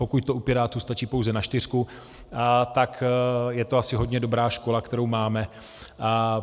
Pokud to u Pirátů stačí pouze na čtyřku, tak je to asi hodně dobrá škola, kterou máme.